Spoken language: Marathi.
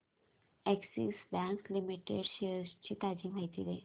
अॅक्सिस बँक लिमिटेड शेअर्स ची ताजी माहिती दे